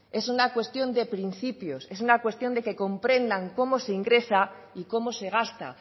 es una cuestión de principios es una cuestión de que comprendan cómo se ingresa y cómo se gasta